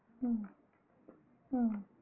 உம் உம்